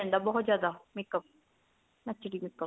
ਜਾਂਦਾ ਬਹੁਤ ਜਿਆਦਾ makeup HD makeup